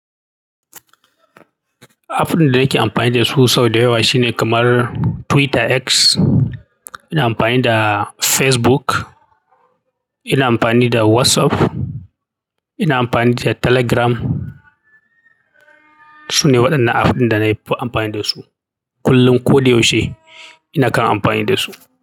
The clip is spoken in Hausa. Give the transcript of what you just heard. App ɗin da nake amfani da su sau da yawa shine kamar Twitter X, ina amfani da Facebook, ina amfani da WhatsApp, ina amfani da Telegram. Su ne waɗannan app ɗin da na amfani da su. Kullum ko da yaushe ina kan amfani dasu.